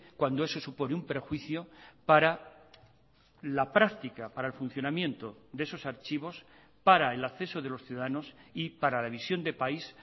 cuando eso supone un perjuicio para la práctica para el funcionamiento de esos archivos para el acceso de los ciudadanos y para la visión de país